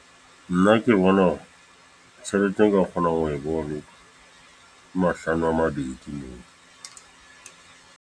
Nna ke bona hore, tjhelete e ka kgonang ho e boloka, ke mahlano a mabedi.